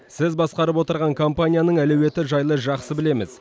сіз басқарып отырған компанияның әлеуеті жайлы жақсы білеміз